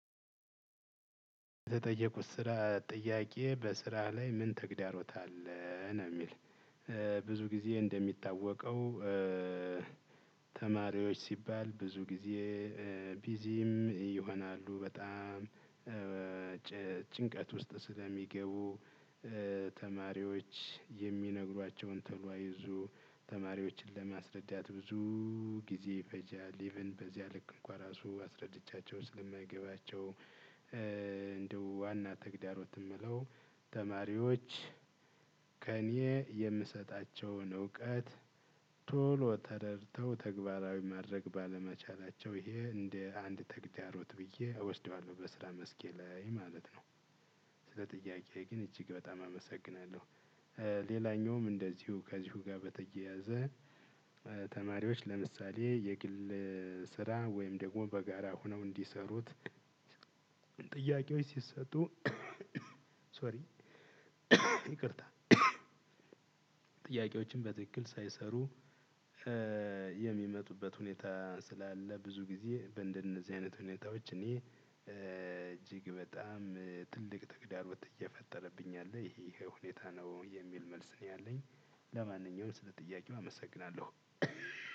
የተጠየቁት ስራ ጥያቄ በስራ ላይ ምን ተግዳሮት አለ ነው የሚል? ብዙ ጊዜ እንደሚታወቀው። ተማሪዎች ሲባል ብዙ ጊዜ ቢዚም ይሆናሉ በጣም ጭንቀት ውስጥ ስለሚገቡ። ተማሪዎች የሚነግሯቸውን ቶሎ አይዙ ተማሪዎችን ለማስረዳት ብዙ ጊዜ ይፈጃል ኢቭን በዚያ ልክ እንኳን ራሱ አስረድቻቸው ስለማይገባቸው። እንደ ዋና ተግዳሮት የምለው ተማሪዎች ከእኔ የምሰጣቸውን እውቀት ቶሎ ተረደተው ተግባራዊ ማድረግ ባለመቻላቸው ይሄ እንደ አንድ ተግዳሮት ብዬ እወስደዋለሁ በስራ መስኬ ላይ ማለት ነው። ስለ ጥያቄ ግን እጅግ በጣም አመሰግናለሁ። ሌላኛውም እንደዚሁ ከዚሁ ጋር በተያያዘ። ተማሪዎች ለምሳሌ የግል ስራ ወይም ደግሞ በጋራ ሆነው እንዲሰሩት። ጥያቄዎች ሲሰጡ። ሶሪ ይቅርታ። ጥያቄዎችን በትክክል ሳይሰሩ። የሚመጡበት ሁኔታ ስላለ ብዙ ጊዜ በእንደነዚህ አይነት ሁኔታዎች እኔ እጅግ በጣም ትልቅ ተግዳሮት እየፈጠረብኝ አለ ይሄ ይሄ ሁኔታ ነው የሚል መልስ ነው ያለኝ። ለማንኛውም ስለ ጥያቄው አመሰግናለሁ።